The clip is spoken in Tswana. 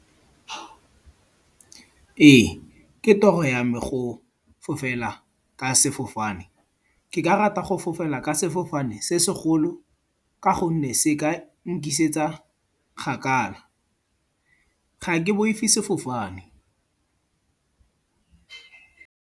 Ee, ke toro ya me go fofela ka sefofane. Ke ka rata go fofela ka sefofane se segolo ka gonne se ka nkisetsa kgakala. Ga ke boife sefofane.